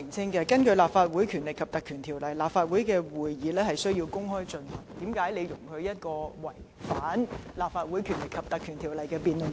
既然根據《立法會條例》，立法會會議須公開舉行，為何你容許本會進行這項違反有關條例的辯論？